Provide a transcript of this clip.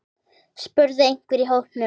spurði einhver í hópnum.